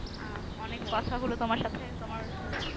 অনেক কথা হলো তুমার সাথে তুমার